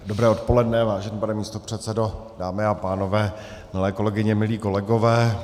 Dobré odpoledne, vážený pane místopředsedo, dámy a pánové, milé kolegyně, milí kolegové.